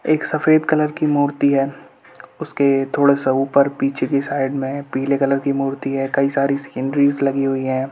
एक सफेद कलर की मूर्ति है उसके पीछे पीले कलर की मूर्ति हैं और बहुत सारी सीनरी लगी हुई हैं।